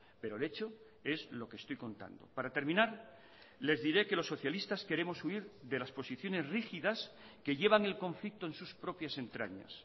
pero el hecho es lo que estoy contando para terminar les diré que los socialistas queremos huir de las posiciones rígidas que llevan el conflicto en sus propias entrañas